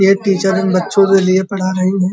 ये टीचर इन बच्चों के लिए पढ़ा रही हैं।